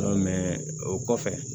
o kɔfɛ